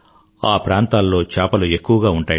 ఆ ప్రాంతాల్లో చేపలు ఎక్కువగా ఉంటాయిట